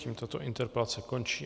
Tím tato interpelace končí.